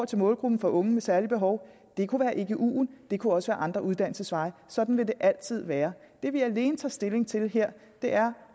til målgruppen for unge med særlige behov det kunne være eguen og det kunne også være andre uddannelsesveje sådan vil det altid være det vi alene tager stilling til her er